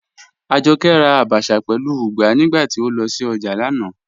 Ajọkẹ́ rà àbàchà pẹ̀lú ùgbà nígbàtí o lọ sí ojá lánà.